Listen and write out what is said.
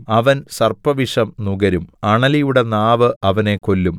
അവൻ സർപ്പവിഷം നുകരും അണലിയുടെ നാവ് അവനെ കൊല്ലും